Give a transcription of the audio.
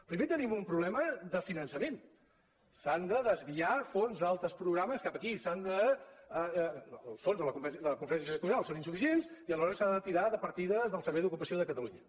pri·mer tenim un problema de finançament s’han de des·viar fons d’altres programes cap aquí els fons de la conferència sectorial són insuficients i aleshores s’ha de tirar de partides del servei d’ocupació de catalu·nya